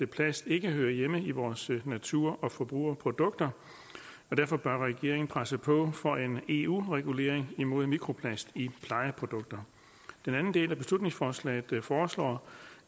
plast ikke hører hjemme i vores natur og forbrugerprodukter og derfor bør regeringen presse på for en eu regulering imod mikroplast i plejeprodukter den anden del af beslutningsforslaget foreslår